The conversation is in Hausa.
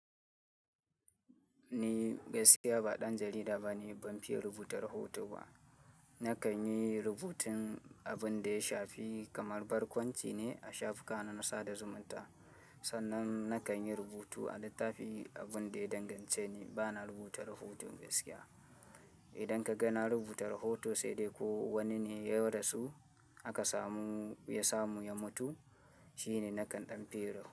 Ni gaskiya ba ɗan jarida bane, ban fiye rubuta rahoto ba. Na kan yi rubutun abin da ya shafi kamar barkwanci ne a shafukana na sada zumunta. Sannan na kan yi rubutu a littafi. Abin da ya dangance ni bana rubuta rahoto gaskiya. Idan ka ga na rubuta rahoto sai dai ko wani ne ya rasu aka samu ya samu ya mutu shine nakan ɗan fiye rubuta.